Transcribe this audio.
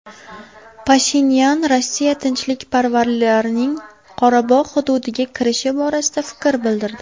Pashinyan Rossiya tinchlikparvarlarining Qorabog‘ hududiga kirishi borasida fikr bildirdi.